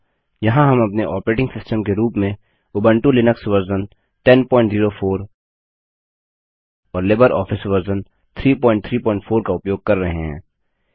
यहाँ हम अपने ऑपरेटिंग सिस्टम के रूप में उबंटु लिनक्स वर्जन 1004 और लिबरऑफिस वर्जन 334 का उपयोग कर रहे हैं